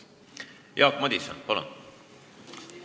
Jaak Madison, palun!